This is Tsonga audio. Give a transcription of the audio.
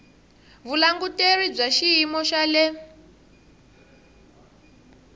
vulanguteri bya xiyimo xa le